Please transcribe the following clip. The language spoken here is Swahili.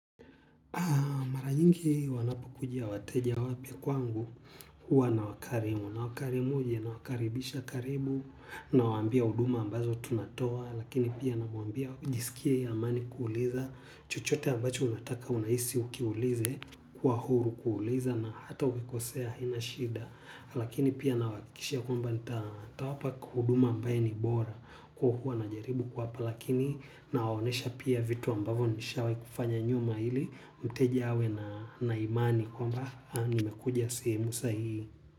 Mara nyingi wanapo kuja wateja wapya kwangu huwa nawakarimu. Na wakarimu aje na wakaribisha karibu nawaambia huduma ambazo tunatoa. Lakini pia namwambia ajisikie yeye amani kuuliza. Chochote ambacho unataka unahisi ukiulize kwa huru kuuliza na hata ukikosea haina shida. Lakini pia nawahakikishia kwamba nitawapa huduma ambaye ni bora. Kwa hiyo huwa najaribu kuwapa lakini na waonyesha pia vitu ambavyo nishawahi kufanya nyuma ili mteja awe na imani kwamba nimekuja sehemu sahihi.